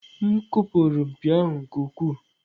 M kụpụrụ mpi ahụ nke ukwuu.